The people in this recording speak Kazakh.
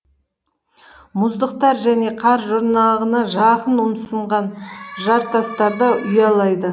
мұздықтар және қар жұрнағына жақын ұмсынған жартастарда ұялайды